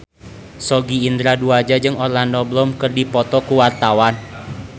Sogi Indra Duaja jeung Orlando Bloom keur dipoto ku wartawan